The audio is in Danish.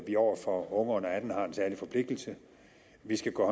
vi over for unge under atten år har en særlig forpligtelse vi skal gå